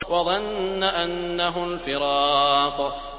وَظَنَّ أَنَّهُ الْفِرَاقُ